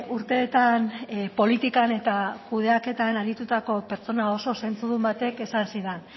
urteetan politikan eta kudeaketan aritutako pertsona oso zentzudun batek esan zidan